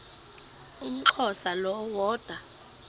umxhosa lo woda